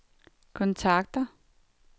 kontakter